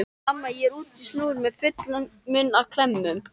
Mamma er úti á snúru með fullan munn af klemmum.